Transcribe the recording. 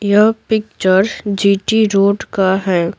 यह picture G T road का है।